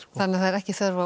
þannig að það er ekki þörf á